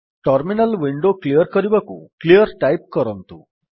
terminal window clear କରିବାକୁ clear type କରନ୍ତୁ